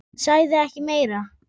Hann sagði ekki meira.